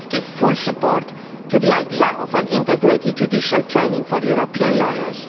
We must give full support to the idea of integrated judicial training for European lawyers.